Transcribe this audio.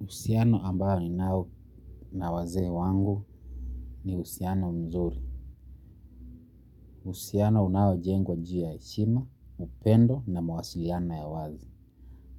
Uhusiano ambao ninao na wazee wangu ni uhusiano mzuri. Uhusiano unaojengwa ju ya heshima, upendo na mawasiliano ya wazi.